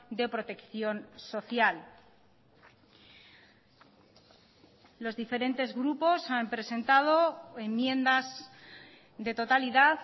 de protección social los diferentes grupos han presentado enmiendas de totalidad